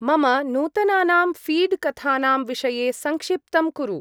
मम नूतनानां फीड्-कथानां विषये संक्षिप्तं कुरु।